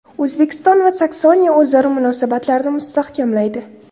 O‘zbekiston va Saksoniya o‘zaro munosabatlarni mustahkamlaydi.